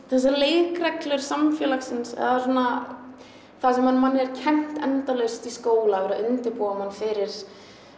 þessar leikreglur samfélagsins eða svona það sem manni er kennt endalaust í skóla verið að undirbúa mann fyrir